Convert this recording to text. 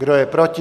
Kdo je proti?